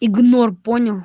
игнор понял